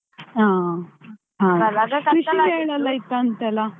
ಹಾ. ಕೃಷಿ ಮೇಳ ಎಲ್ಲ ಇತ್ತಂತೆ ಅಲ್ಲಾ.